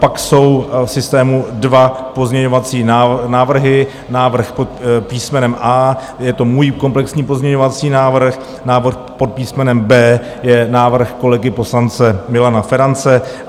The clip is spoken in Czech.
Pak jsou v systému dva pozměňovací návrhy, návrh pod písmenem A, je to můj komplexní pozměňovací návrh, návrh pod písmenem B je návrh kolegy poslance Milana Ferance.